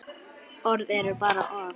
Orð eru bara orð.